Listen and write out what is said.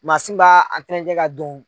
Masin b'a tɛntɛ ka don